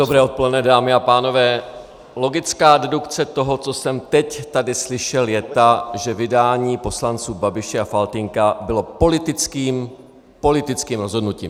Dobré odpoledne, dámy a pánové, logická dedukce toho, co jsem teď tady slyšel, je ta, že vydání poslanců Babiše a Faltýnka bylo politickým rozhodnutím.